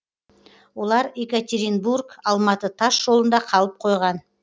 олар екатеринбург алматы тас жолында қалып қойған